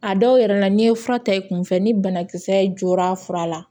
A dɔw yɛrɛ la n'i ye fura ta i kunfɛ ni banakisɛ jora a fura la